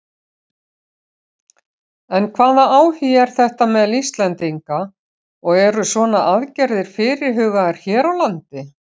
En hvaða áhugi er þetta meðal Íslendinga og eru svona aðgerðir fyrirhugaðar hér á landi?